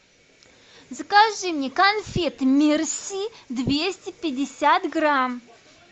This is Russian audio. закажи мне конфеты мерси двести пятьдесят грамм